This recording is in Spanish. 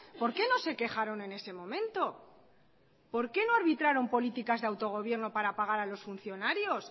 por qué no se quejaron en ese momento por qué no arbitraron políticas de autogobierno para pagar a los funcionarios